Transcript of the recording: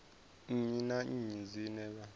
nnyi na nnyi dzine vha